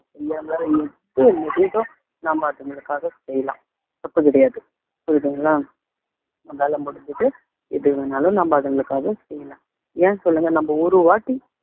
உங்களால எது முடியுதோ நாம அதுங்களுக்காக செய்யலாம் தப்பு கிடையாது புரியுதுங்களா நம்மளால முடிஞ்சது எது வேணாலும் நம்ம அதுங்களுக்காக செய்யலாம் ஏன் சொல்லுங்க நம்ம ஒரு வாட்டி